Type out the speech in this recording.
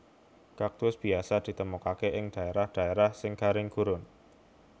Kaktus biasa ditemokaké ing dhaérah dhaérah sing garing gurun